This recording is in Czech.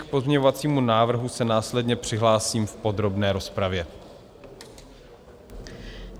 K pozměňovacímu návrhu se následně přihlásím v podrobné rozpravě.